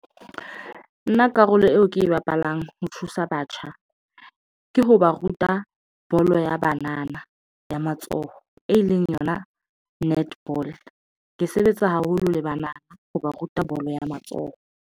Nna karolo eo ke e bapalang ho thusa batjha ke ho ba ruta bolo ya banana ya matsoho, e leng yona netball, ke sebetsa haholo le banana ho ba ruta bolo ya matsoho.